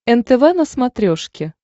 нтв на смотрешке